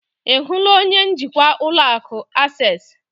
Ị hụla onye njikwa ụlọ akụ Akses?